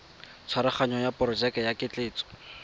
tshwaraganyo ya porojeke ya ketleetso